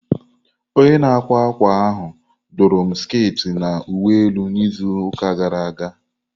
Onye na-akwa akwa ahụ dụru m sket na uwe elu na izu ụka gara aga.